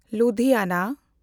Ludhiana